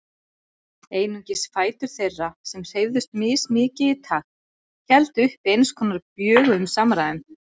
Einungis fætur þeirra, sem hreyfðust mismikið í takt, héldu uppi eins konar bjöguðum samræðum.